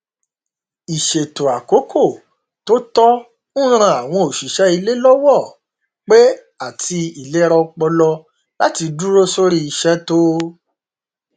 ìṣètò àkókò tó tọ n ran àwọn òṣìṣẹ ilé lọwọ pé àti ìlera ọpọlọláti dúró sórí iṣẹ tó